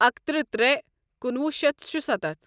اکتٕرہ ترےٚ کُنوُہ شیتھ شُسَتتھ